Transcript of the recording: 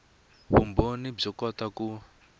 vumbhoni byo kota ku